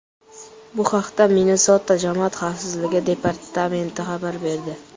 Bu haqda Minnesota jamoat xavfsizligi departamenti xabar berdi .